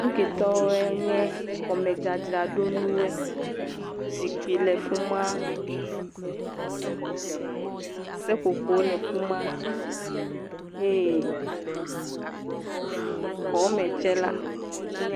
nuketɔwo nye xɔmedzadzraɖo nuwoe zikpi le fima seƒoƒo le fima ye xɔme tsɛ la enye